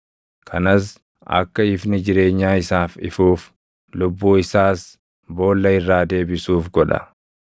Kanas akka ifni jireenyaa isaaf ifuuf, lubbuu isaas boolla irraa deebisuuf godha.